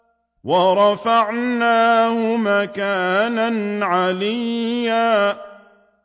وَرَفَعْنَاهُ مَكَانًا عَلِيًّا